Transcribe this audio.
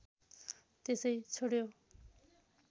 त्यसै छोड्यौं